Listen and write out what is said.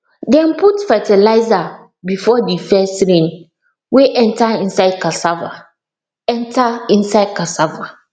dem put fertilizer before the first rain wey enter inside cassava enter inside cassava